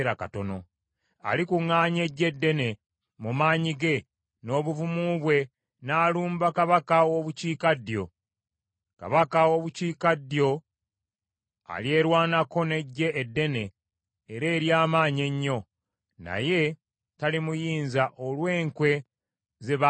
“Alikuŋŋaanya eggye ddene mu maanyi ge n’obuvumu bwe n’alumba kabaka w’obukiikaddyo. Kabaka w’obukiikaddyo alyerwanako n’eggye eddene era ery’amaanyi ennyo; naye talimuyinza olw’enkwe ze baamusalira.